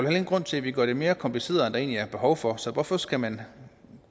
ingen grund til at vi gør det mere kompliceret end der egentlig er behov for så hvorfor skal man